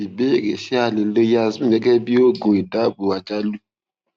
ìbéèrè ṣé a lè lo yasmin gẹgẹ bí oògùn ìdabò àjálù